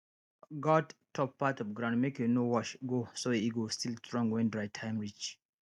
guard top part of ground make e no wash go so e go still strong when dry time reach